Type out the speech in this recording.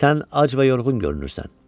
Sən ac və yorğun görünürsən.